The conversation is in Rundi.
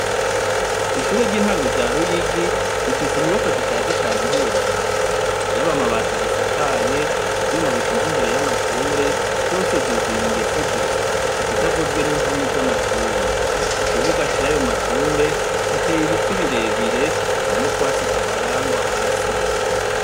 Ishure ry'intango rya Ruyigi rifise inyubakwa zishaje cane ntiworaba, yaba amabati azisakaye, ivyuma bishinze imbere y'amashure vyose vyuzuye ingese gusa, ikitavuzwe n'impome z'amashure, ku kibuga c'ayo mashure hateye ibiti birebire nta n'utwatsi tuharangwa hasi.